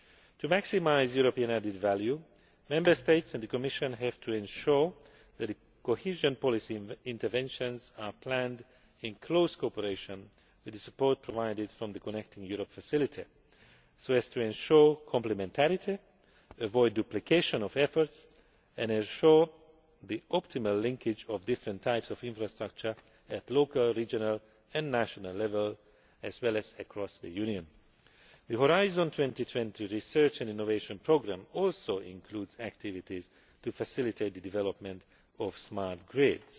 To maximise European added value, Member States and the Commission have to ensure that cohesion policy interventions are planned in close cooperation with the support provided from the Connecting Europe Facility, so as to ensure complementarity, avoid duplication of efforts and ensure the optimal linkage of different types of infrastructure at local, regional and national level, as well as across the Union. The Horizon 2020 Research and Innovation Programme also includes activities to facilitate the development of smart grids.